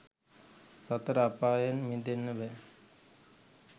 සතර අපායෙන් මිදෙන්න බෑ.